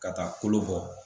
Ka taa kolo bɔ